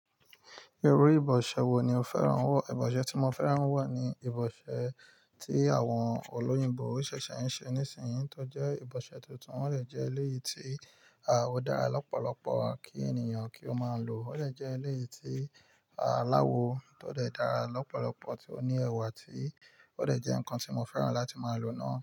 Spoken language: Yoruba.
Irú ìbọ̀ṣẹ wò ní o fẹ́ràn wọ̀? Ìbọ̀ṣẹ tí mo fẹ́ràn wọ̀ ní ìbọ̀ṣẹ tí àwọn olóyìnbó ṣẹ̀ṣẹ̀ n ṣẹ̀ nísinyìí, tó jẹ ìbọ̀ṣẹ́ tuntun. Wọ́n lè jẹ́ léyìí tí a o dára lọ́pọ̀lọ́pọ̀ kí ènìyàn kí o máa lò. Ó lè jẹ́ léyìí tí a láwọ̀ tó lè dára lọ́pọ̀lọ́pọ̀ tí ó ní ẹwà tí ó lè jẹ́ ǹkan tí mo fẹ́ràn láti máa lò náà.